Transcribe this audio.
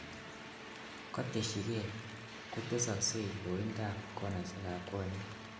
Koteshikei, kotesoksei loindab konaisiekab konyek .